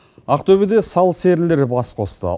ақтөбеде сал серілер бас қосты